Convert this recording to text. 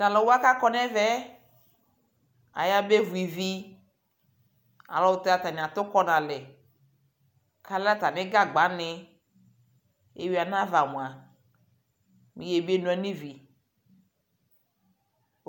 Talʋwa kakɔ nʋ ɛvɛɛ ayabevu ivi ayʋɛlʋtɛ atani atu kɔ nʋ alɛkalɛ atami gagba ni Ewi anava mua mɛ ebeno yanʋ ivi